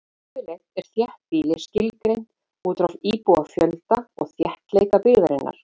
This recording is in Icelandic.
Yfirleitt er þéttbýli skilgreint út frá íbúafjölda og þéttleika byggðarinnar.